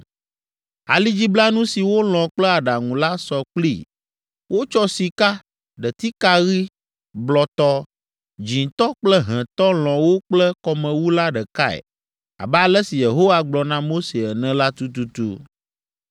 Alidziblanu si wolɔ̃ kple aɖaŋu la sɔ kplii, wotsɔ sika, ɖetika ɣi, blɔtɔ, dzĩtɔ kple hẽtɔ lɔ̃ wo kple kɔmewu la ɖekae abe ale si Yehowa gblɔ na Mose ene la tututu.